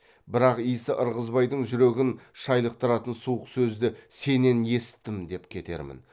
бірақ исі ырғызбайдың жүрегін шайлықтыратын суық сөзді сенен есіттім деп кетермін